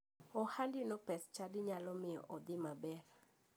Ohandino pes chadi nyalo miyo odhi maber.